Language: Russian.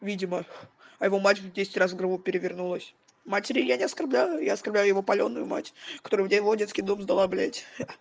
видимо а его мать в десять раз в гробу перевернулась матери я не оскорбляю я оскарбляю его палёную мать которая его в детский дом сдала блядь ха